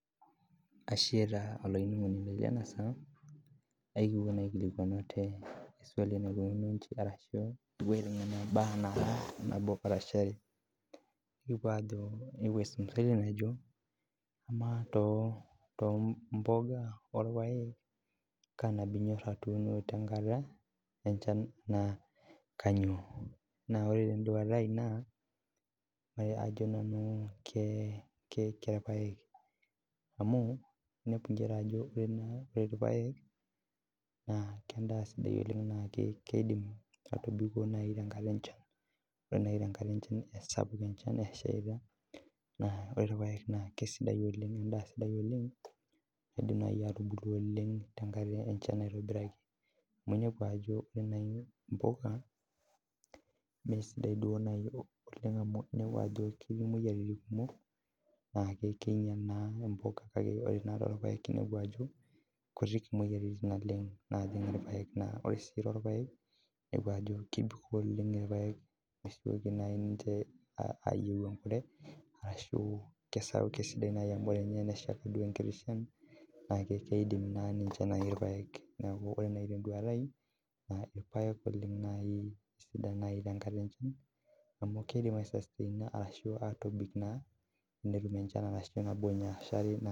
Ashe taa olainining'oni lai le enasaa, ekipo naa aikilikuan ate eswali naikununo inji alimu embaa nabo arashu are, ekipo aajo amaa too imbuka orpaek kaa nabo inyoraa teniun tenkata enchan kitok naa kanyioo. Naa ore te nduata ai naa ajo nanu kee irpaek amu idol inchere ajo amaa irpaek naa kengas dei aaku keidim aitibiko nai too tenkata enchan, ore nai tenkata enchan apik inchan esheita, naa ore enchan naa kesidai oleng naa eidim nai atubulu oleng tenkata enchan aitobiraki amu iniepu ajo ore imbuka mee sidai duo oleng amu iniepu imoyiaritin kumok naa kekinyua naa imbuka tanaa duo irpaek eniapu ajo kutiik imoyiaritin natii irpaek naa ore sii too irpaek idol ajo kebik oleng irpaek ashu eaku nai ninche ayeu enkare ashu kesidai ninye enesha duo nkiti inchan naa keidim naii ninche nai irpaek amu ore eton eluatai naa irpaek oleng naii sidan nai tenkata enchan amu keidim aisasteina ashu aatobik naa enetum inchan nabo anaa.